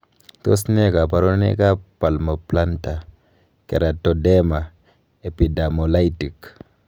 Tos nee koborunoikab Palmoplantar keratoderma, epidermolytic?